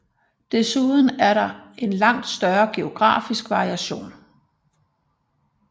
Desuden er der en langt større geografisk variation